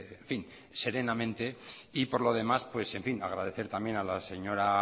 en fin serenamente y por lo demás agradecer también a la señora